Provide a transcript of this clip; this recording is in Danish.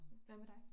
Hvad med dig?